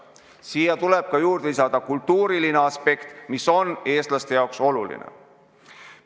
Siia tuleb lisada ka kultuuriline aspekt, mis on eestlaste jaoks oluline.